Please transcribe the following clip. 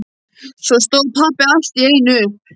Svo stóð pabbi allt í einu upp.